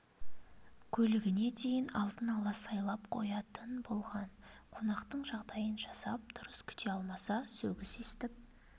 көлігіне дейін алдын ала сайлап қоятын болған қонақтың жағдайын жасап дұрыс күте алмаса сөгіс естіп